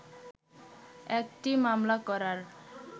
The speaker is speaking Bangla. একটি মামলা করার